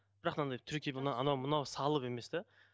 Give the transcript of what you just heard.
бірақ мынандай анау мынау салып емес де